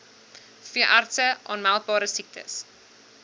veeartse aanmeldbare siektes